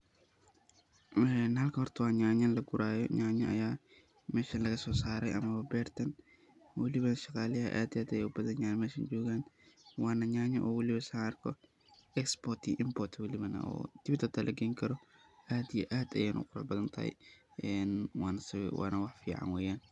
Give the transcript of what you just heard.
Halkan horta wa nyanya lagurahayo, nyanya Aya meshan laga sibsaray mah beerta waliba shqaalaha aad iyo aad Aya u bathanyahin mesha joogan Wana nyanya waliba saaran Export iyo import kudiman deweet xata lageeyni karoh aad iyo aad Aya u Qurax bahanthay Wana wax fican weeyan.